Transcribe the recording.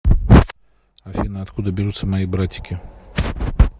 афина откуда берутся мои братики